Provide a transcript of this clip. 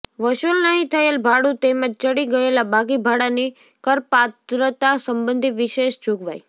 વસૂલ નહીં થયેલ ભાડું તેમજ ચડી ગયેલા બાકી ભાડાની કરપાત્રતા સંબંધી વિશેષ જોગવાઈ